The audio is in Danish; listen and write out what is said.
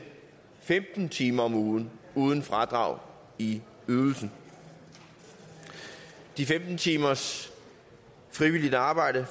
femten timer om ugen uden fradrag i ydelsen de femten timers frivilligt arbejde